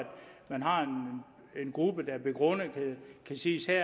man har en gruppe der begrundet kan siges at